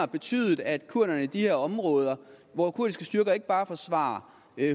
betyder at kurderne i de her områder hvor kurdiske styrker ikke bare forsvarer